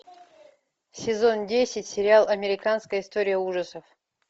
сезон десять сериал американская история ужасов